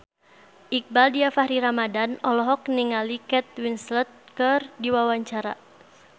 Iqbaal Dhiafakhri Ramadhan olohok ningali Kate Winslet keur diwawancara